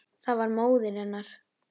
Það var móðir hennar.